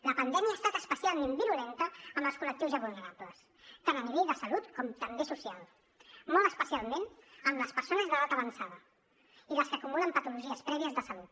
la pandèmia ha estat especialment virulenta amb els col·lectius ja vulnerables tant en l’àmbit de salut com també social molt especialment amb les persones d’edat avançada i les que acumulen patologies prèvies de salut